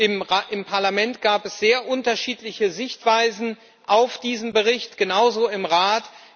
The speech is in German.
Im Parlament gab es sehr unterschiedliche Sichtweisen auf diesen Bericht genauso im Rat.